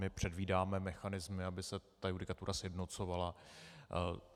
My předvídáme mechanismy, aby se ta judikatura sjednocovala.